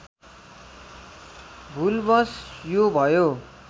भुलवश यो भयो